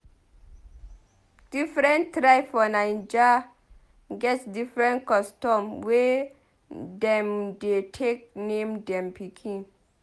Different tribe for Naija get different custom wey dem dey take name dem pikin.